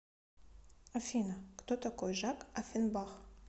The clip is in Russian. афина кто такой жак оффенбах